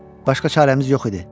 Başqa çarəmiz yox idi.